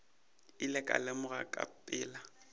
ile ka lemoga ka pela